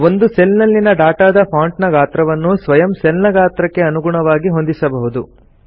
ಒಂದು ಸೆಲ್ ನಲ್ಲಿನ ಡಾಟಾದ ಫಾಂಟ್ ನ ಗಾತ್ರವನ್ನು ಸ್ವಯಂ ಸೆಲ್ ನ ಗಾತ್ರಕ್ಕೆ ಅನುಗುಣವಾಗಿ ಹೊಂದಿಸಬಹುದು